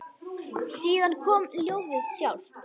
Síðan kom ljóðið sjálft: